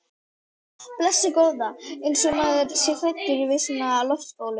Blessuð góða. eins og maður sé hræddur við svona loftbólu!